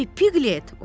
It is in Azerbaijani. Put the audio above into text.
Oy, Piqlet!